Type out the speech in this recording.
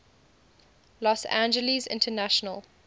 los angeles international